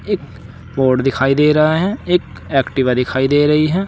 एक बोर्ड दिखाई दे रहा है एक एक्टिवा दिखाई दे रही है।